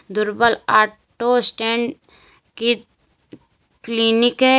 दुर्बल auto stand के clinic है।